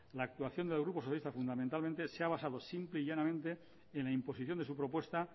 la actuación del grupo socialista fundamentalmente se ha basado simple y llanamente en la imposición de su propuesta